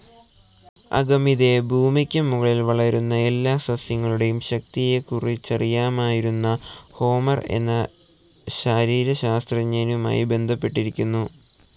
അഗമിദെ ഭൂമിക്ക് മുകളിൽ വളരുന്ന എല്ലാ സസ്യങ്ങളുടേയും ശക്തിയെക്കുറിച്ചറിയാമായിരുന്ന ഹോമർ എന്നശരീരശാസ്ത്രജ്ഞനുമായി ബന്ധപ്പെട്ടിരിക്കുന്നു.